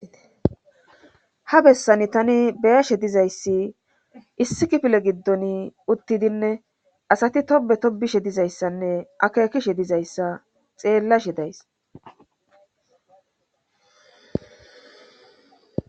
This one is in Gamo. Ha bessan tani beyashe dizayssi issikifile giddon uttidinne asati tobe tobishe dizayssanne akeekishe dizayssa xeellashe days